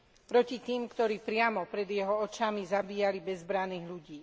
Proti tým, ktorí priamo pred jeho očami zabíjali bezbranných ľudí.